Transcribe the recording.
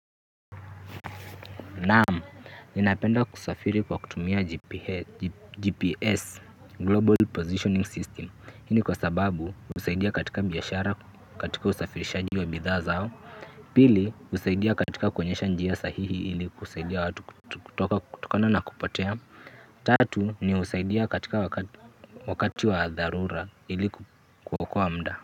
Naam, ninapenda kusafiri kwa kutumia GPS Global Positioning System hii ni kwa sababu, husaidia katika biashara katika usafirishaji wa bidhaa zao. Pili, husaidia katika kuonyesha njia sahihi ili kusaidia watu kutokona na kupotea. Tatu, ni husaidia katika wakati wa dharura ili kuokoa muda.